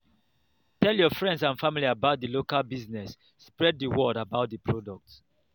tell your friends and family about di local business spread di word about di product